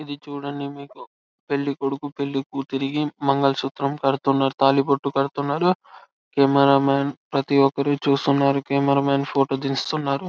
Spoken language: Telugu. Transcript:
ఇది చుడండి మీకు పెళ్లి కొడుకు పెళ్లి కూతురికి మంగళ సూత్రం కడుతున్నట్టు తాళి బొట్టు కడుతున్నాడు కెమెరా మం ప్రతి ఒక్కరు చూస్తున్నారు కెమెరా మం ఫోటో తీస్తున్నరు.